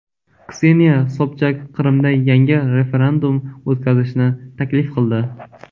Kseniya Sobchak Qrimda yangi referendum o‘tkazishni taklif qildi.